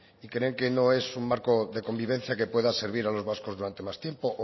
y creen que no es un marco de convivencia que pueda servir a los vascos durante más tiempo o